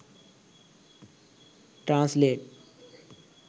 translate